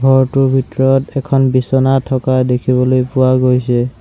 ঘৰটোৰ ভিতৰত এখন বিছনা থকা দেখিবলৈ পোৱা গৈছে।